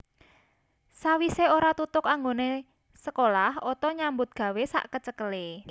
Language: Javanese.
Sawise ora tutug anggone sekolah Otto nyambut gawé sakecekele